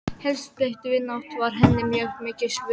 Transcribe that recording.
Heilsteypt vinátta var henni mjög mikils virði.